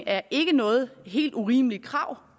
er ikke noget helt urimeligt krav